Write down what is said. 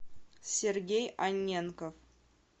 сергей анненков